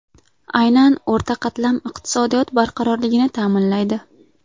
Aynan o‘rta qatlam iqtisodiyot barqarorligini ta’minlaydi.